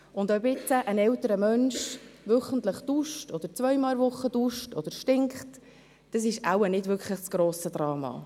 Ob jetzt ein älterer Mensch wöchentlich oder zweimal pro Woche duscht oder stinkt, das ist wohl nicht das grosse Drama.